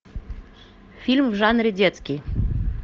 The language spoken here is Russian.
фильм в жанре детский